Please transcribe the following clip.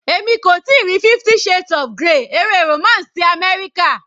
Èmi kò tíì rí 50 shades of grey eré romance ti àmẹ́ríkà.